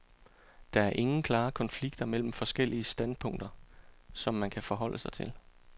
Der er ingen klare konflikter mellem forskellige standpunkter, som man kan forholde sig til.